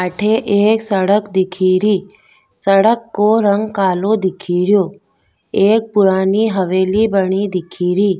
अठे एक सड़क दिखे री सड़क को रंग कालो दिखे रियो एक पुरानी हवेली बनी दिखेरी।